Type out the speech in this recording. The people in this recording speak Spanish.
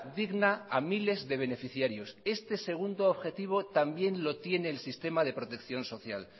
digna a miles de beneficiarios este segundo objetivo también lo tiene el sistema de protección social